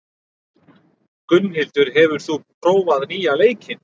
Gunnhildur, hefur þú prófað nýja leikinn?